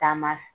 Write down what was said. Taama